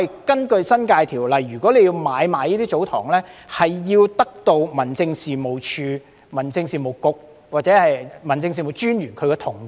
根據《新界條例》，要買賣這些祖堂地必須獲得民政事務總署、民政事務局或民政事務專員同意。